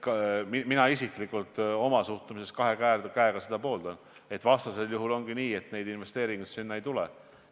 Mina isiklikult pooldan seda kahe käega, vastasel juhul ongi nii, et investeeringuid sinna ei tule.